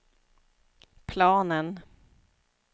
planen